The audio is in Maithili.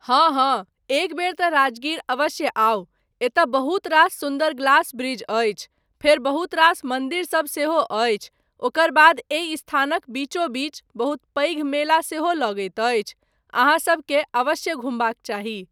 हाँ हाँ, एकबेर तँ राजगीर अवश्य आउ, एतय बहुत रास सुन्दर ग्लास ब्रिज अछि, फेर बहुत रास मन्दिरसब सेहो अछि, ओकर बाद एहि स्थानक बीचो बीच बहुत पैघ मेला सेहो लगैत अछि, अहाँसबकेँ अवश्य घुमबाक चाही।